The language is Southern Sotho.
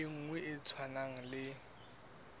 e nngwe e tshwanang le